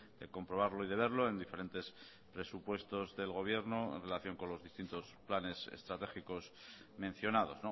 de comprobarlo y de verlo en diferentes presupuestos del gobierno en relación con los distintos planes estratégicos mencionados